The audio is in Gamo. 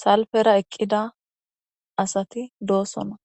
salfera eqida asti dossona